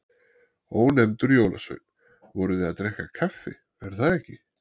Ónefndur jólasveinn: Voruð þið að drekka kaffi, er það ekki?